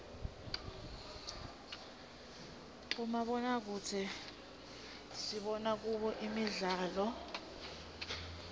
bomabonakudze sibona kubo imdlalo